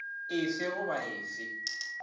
e fe goba e fe